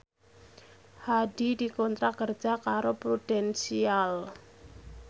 Hadi dikontrak kerja karo Prudential